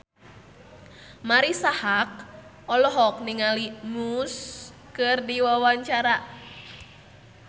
Marisa Haque olohok ningali Muse keur diwawancara